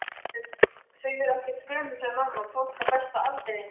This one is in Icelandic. Þau eru ekkert gömul sagði mamma, fólk á besta aldri.